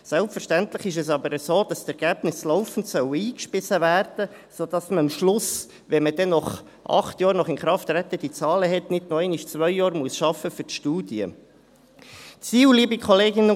Selbstverständlich ist es aber so, dass die Ergebnisse laufend eingespeist werden sollen, sodass man am Schluss – wenn man dann acht Jahre nach Inkrafttreten diese Zahlen hat – nicht noch einmal zwei Jahre für die Studie arbeiten muss.